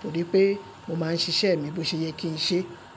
torí pé mo máa ń ṣiṣẹ́ mi bó ṣe ye kí n ṣe.